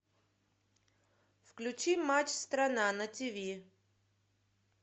включи матч страна на тв